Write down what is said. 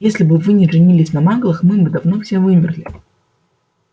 если бы вы не женились на маглах мы бы давно все вымерли